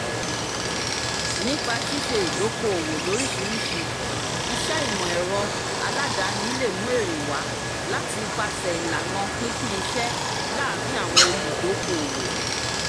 nípa ṣíṣe ìdóokòòwò lóríṣiríṣi iṣẹ́ ìmọ̀ ẹ̀rọ aládani lè mú èrè wá láti ipasẹ̀ ìlànà pínpín iṣẹ́ láàrin àwọn olùdóokòòwò